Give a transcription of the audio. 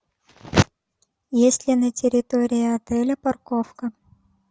есть ли на территории отеля парковка